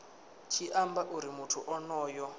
tshi amba uri muthu onoyo